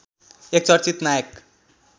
एक चर्चित नायक